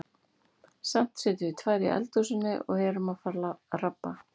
Samt sitjum við tvær í eldhúsinu og erum að fara að rabba.